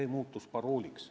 See muutus parooliks.